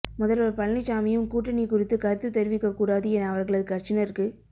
முதல்வர் பழனிச்சாமியும் கூட்டணி குறித்து கருத்து தெரிவிக்க கூடாது என அவர்களது கட்சியினருக்கு